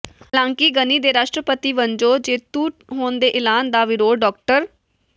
ਹਾਲਾਂਕਿ ਗਨੀ ਦੇ ਰਾਸ਼ਟਰਪਤੀ ਵੱਜੋਂ ਜੇਤੂ ਹੋਣ ਦੇ ਐਲਾਨ ਦਾ ਵਿਰੋਧ ਡਾ